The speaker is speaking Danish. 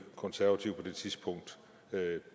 konservative på det tidspunkt